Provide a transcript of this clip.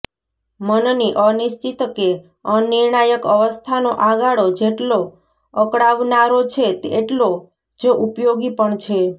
મનની અનિશ્ચિત કે અનિર્ણાયક અવસ્થાનો આ ગાળો જેટલો અકળાવનારો છે એટલો જ ઉપયોગી પણ છે